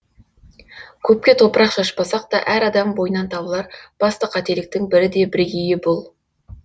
көпке топырақ шашпасақ да әр адам бойынан табылар басты қателіктің бірі де бірегейі бұл